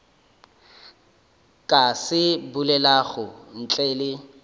ka se bolelago ntle le